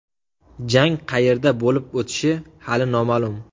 Jang qayerda bo‘lib o‘tishi hali noma’lum.